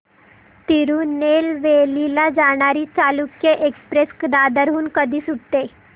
तिरूनेलवेली ला जाणारी चालुक्य एक्सप्रेस दादर हून कधी सुटते